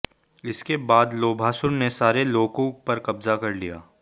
इसके बाद लोभासुर ने सारे लोकों पर कब्जा कर लिया